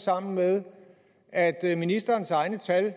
sammen med at ministerens egne tal